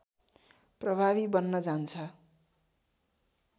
प्रभावी बन्न जान्छ